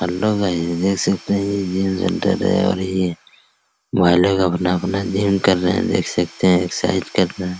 Hello guys देख सकते है ये जिम सेंटर है और ये भाई लोग अपना-अपना जिम कर रहे है देख सकते है एक्सरसाइज कर रहे है ।